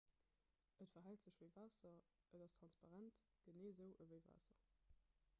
et verhält sech ewéi waasser et ass transparent genee esou ewéi waasser